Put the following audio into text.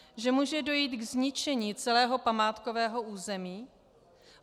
Že může dojít ke zničení celého památkového území?